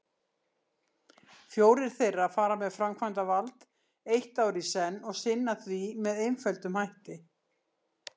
Fjórir þeirra fara með framkvæmdavald eitt ár í senn og sinna því með einföldum hætti.